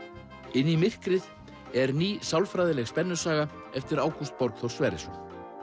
inn í myrkrið er ný sálfræðileg spennusaga eftir Ágúst Borgþór Sverrisson